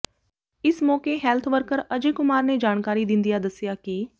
ਇਸ ਮੌਕੇ health worker Ajay Kumar ਨੇ ਜਾਣਕਾਰੀ ਦਿੰਦਿਆਂ ਦੱਸਿਆ ਕਿ